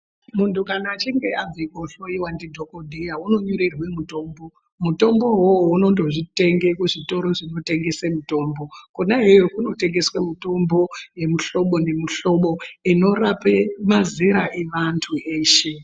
Muntu kana achinge abve kohloiwa ndidhogodheya unonyorerwe mutombo. Mutombo ivovo unondo zvitenge kuzvitoro zvinotengese mutombo. Kona iyoyo kunotengeswe mitombo yemihlobo nemihlobo inorape mazera evantu eshe.